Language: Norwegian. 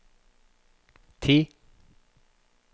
ti